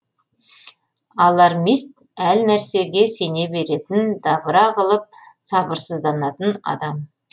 алармист әрнәрсеге сене беретін дабыра қылып сабырсызданатын адам